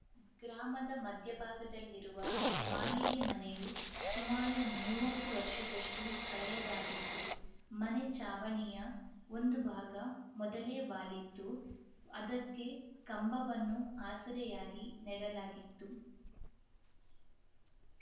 ಗ್ರಾಮದ ಮಧ್ಯಭಾಗದಲ್ಲಿರುವ ಮಾಳಿಗೆ ಮನೆಯು ಸುಮಾರು ಮೂವತ್ತು ವರ್ಷದಷ್ಟು ಹಳೆಯದಾಗಿತ್ತು ಮನೆ ಚಾವಣಿಯ ಒಂದು ಭಾಗ ಮೊದಲೇ ವಾಲಿತ್ತು ಅದಕ್ಕೆ ಕಂಬವನ್ನು ಆಸರೆಯಾಗಿ ನೆಡಲಾಗಿತ್ತು